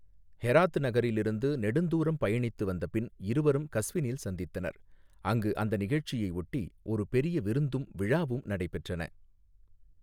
Herat நகரிலிருந்து நெடுந்தூரம் பயணித்து வந்த பின் இருவரும் கஸ்வினில் சந்தித்தனர், அங்கு அந்த நிகழ்ச்சியையொட்டி ஒரு பெரிய விருந்தும் விழாவும் நடைபெற்றன.